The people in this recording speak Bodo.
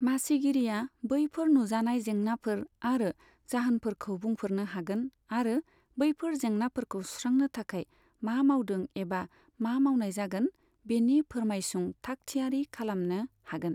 मासिगिरिया बैफोर नुजानाय जेंनाफोर आरो जाहोनफोरखौ बुंफोरनो हागोन आरो बैफोर जेंनाफोरखौ सुस्रांनो थाखाय मा मावदों एबा मा मावनाय जागोन बेनि फोर्मायसुं थाग थियारि खालामनो हागोन।